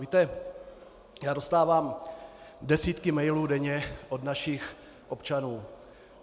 Víte, já dostávám desítky mailů denně od našich občanů.